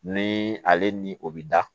Ni ale ni o bi da